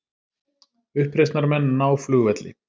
Uppreisnarmenn ná flugvelli